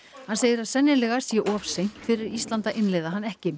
hann segir að sennilega sé of seint fyrir Ísland að innleiða hann ekki